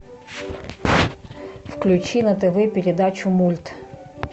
включи на тв передачу мульт